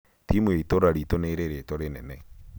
timu ya itũũra riitũ nĩ ĩrĩ rĩtwa rĩnene